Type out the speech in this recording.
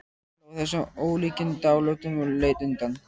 Hann hló að þessum ólíkindalátum og leit undan.